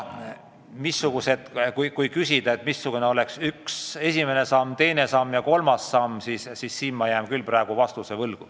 Aga kui küsida, mis võiks olla esimene, teine ja kolmas samm, siis siin ma jään küll praegu vastuse võlgu.